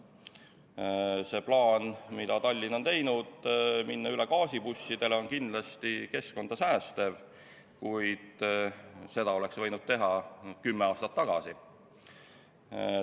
See plaan, mis Tallinn on teinud, minna üle gaasibussidele on kindlasti keskkonda säästev, kuid seda oleks võinud teha kümme aastat tagasi.